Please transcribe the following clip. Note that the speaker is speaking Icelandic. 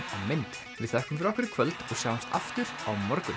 mynd við þökkum fyrir okkur í kvöld og sjáumst aftur á morgun